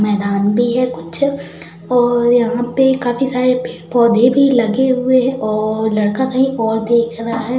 मैदान भी है कुछ और यहां पे काफी सारे पेड़ पौधे पर लगे हुए है और लड़का कही और देख रहा है |